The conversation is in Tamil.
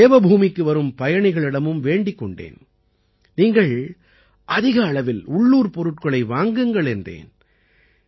நான் தேவபூமிக்கு வரும் பயணிகளிடமும் வேண்டிக் கொண்டேன் நீங்கள் அதிக அளவில் உள்ளூர்ப் பொருட்களை வாங்குங்கள் என்றேன்